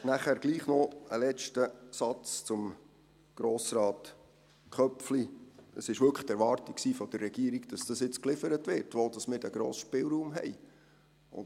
Schliesslich trotzdem noch ein letzter Satz zu Grossrat Köpfli: Es war wirklich die Erwartung der Regierung, dass jetzt geliefert wird, wo wir diesen grossen Spielraum hätten.